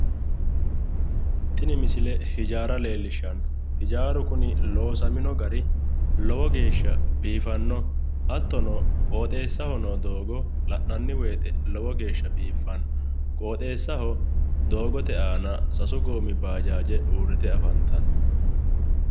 Tini misile hijaara leellishshanno hijaaru kuni loosamino gari lowo geeshsha biifanno hattono qoxeessaho noo doogo la'nanni woyiite lowo geeshsha biiffanno qoxeessaho doogote aana sasu goommi baajaaje uurrite afantanno.